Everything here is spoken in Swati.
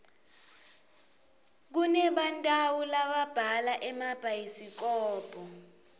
kunebantau lababhala emabhayisikobho